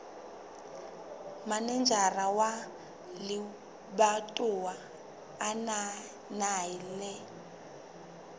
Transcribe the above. manejara wa lebatowa a ananela